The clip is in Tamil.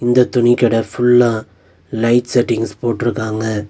இந்த துணி கட ஃபுல்லா லைட் செட்டிங்ஸ் போட்ருக்காங்க.